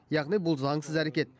яғни бұл заңсыз әрекет